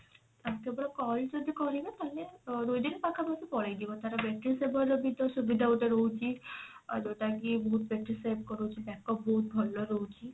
ଆଉ କେବଳ call ଯଦି କରିବେ ତାହେଲେ ଅ ଦୁଇଦିନ ପାଖା ପାଖି ପଳେଇଯିବ ତାର battery saver ର ବି ତ ସୁବିଧା ଗୋଟେ ରହୁଛି ଆଉ ଯଉଟା କି ବହୁତ battery save କରଉଛି backup ବହୁତ ଭଲ ରହୁଛି